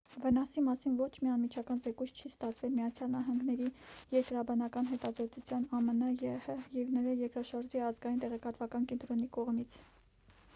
վնասի մասին ոչ մի անմիջական զեկույց չի ստացվել միացյալ նահանգների երկրաբանական հետազոտության ամն եհ և նրա երկրաշարժի ազգային տեղեկատվական կենտրոնի կողմից։